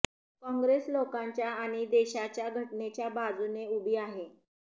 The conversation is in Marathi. कॉंग्रेस लोकांच्या आणि देशाच्या घटनेच्या बाजूने उभी आहे